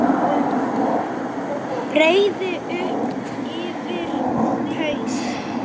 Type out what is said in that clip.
Breiði upp yfir haus.